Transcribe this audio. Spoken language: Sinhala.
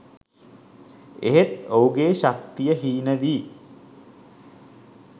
එහෙත් ඔහුගේ ශක්තිය හීන වී